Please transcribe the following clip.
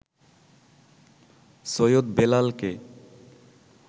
সৈয়দ বেলালকে